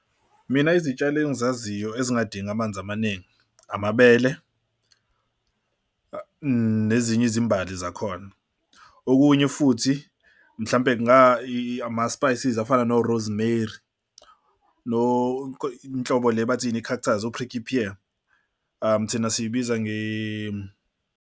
Mina izitshalo engizaziyo ezingadingi amanzi amaningi, amabele nezinye izimbali zakhona. Okunye futhi mhlampe ama-spices afana no-rosemary lo inhlobo le bathi yini i-cactus, o-prickly pear thina siyibiza .